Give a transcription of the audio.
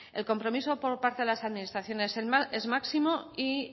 el compromiso por parte de las administraciones es máximo y